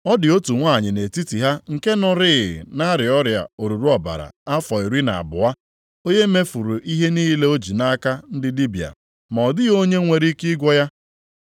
Ọ dị otu nwanyị nʼetiti ha nke nọrịị na-arịa ọrịa oruru ọbara afọ iri na abụọ, onye mefuru ihe niile o ji nʼaka ndị dibịa, ma ọ dịghị onye nwere ike ịgwọ ya.